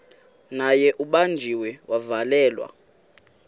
naye ubanjiwe wavalelwa